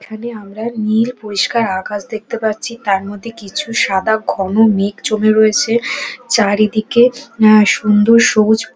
এখানে আমরা নীল পরিষ্কার আকাশ দেখতে পাচ্ছি তার মধ্যে কিছু সাদা ঘন মেঘ জমে রয়েছে চারিদিকে এএ সুন্দর সবুজ--